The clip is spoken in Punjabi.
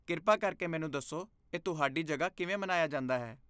ਕਿਰਪਾ ਕਰਕੇ ਮੈਨੂੰ ਦੱਸੋ, ਇਹ ਤੁਹਾਡੀ ਜਗ੍ਹਾ ਕਿਵੇਂ ਮਨਾਇਆ ਜਾਂਦਾ ਹੈ?